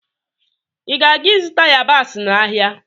ị na aga-izụta yabasị n'ahịa?